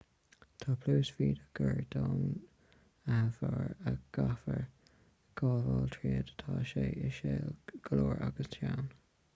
tá pluais bhídeach gar don bharr a gcaithfear gabháil tríd tá sé íseal go leor agus teann